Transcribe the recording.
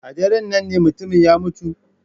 A daren nan ne mutumin ya mutu?